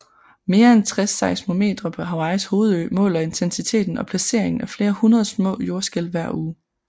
Mere end 60 seismometre på Hawaiis hovedø måler intensiteten og placeringen af flere hundrede små jordskælv hver uge